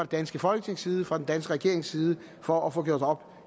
danske folketings side fra en dansk regerings side for at få gjort op